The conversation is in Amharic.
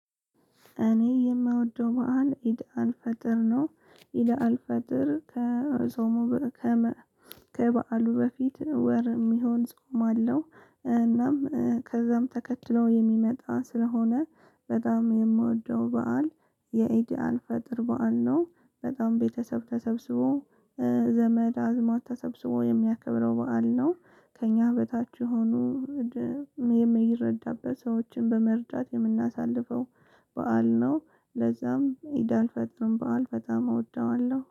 እኔ የምወደው በዓል ኢድ አልፈጥር ነው። ኢድ አልፈጥር ከዞሞ ከመ። ከበዓሉ በፊት ወር የሚሆን ጾም አለው። እናም ከዛም ተከትለው የሚመጣ ስለሆነ በጣም የምወደው በዓል የኢድአል ፈጥር በዓል ነው። በጣም ቤተሰብ ተሰብስቦ ዘመድ አዝማድ ተሰብስቦ የሚያከብረው በዓል ነው። ከእኛ በታች የሆኑ የሚረዳበት ሰዎችን በመርዳት የምናሳልፈው በዓል ነው። ለዛም ኢዳል ፈጥርን በዓል በጣም እወደዋለሁ